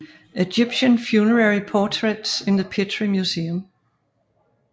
Egyptian Funerary Portraits in the Petrie Museum